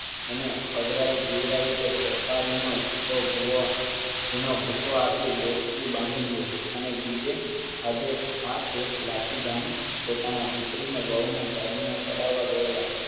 એને ખવડાવી પીવડાવી કે સોપારી નો જથ્થો દોસ્તી બાંધી લે અને બીજે આજે શેઠ લાઠી ગામે પોતાના દીકરા ને વહુ ના દાગીના ચડાવવા ગયેલા